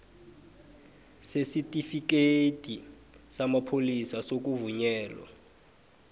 sesitifikhethi samapholisa sokuvunyelwa